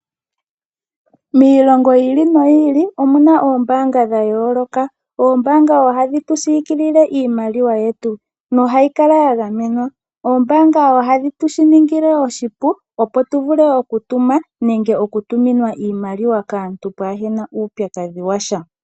Miilongo yi ili , noyi ili omuna oombaanga dhayooloka. Oombaanga oha dhi tu siikilile iimaliwa yetu noha yi kala ya gamenwa. Oombaanga oha dhi tu shiningile oshipu ,opo tu vule oku tuma ,nenge oku tuminwa iimaliwa kaantu pwaahena uupyakadhi washa.